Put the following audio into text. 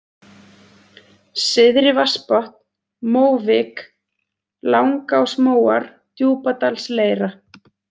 Syðri-Vatnsbotn, Móvik, Langásmóar, Djúpadalsleira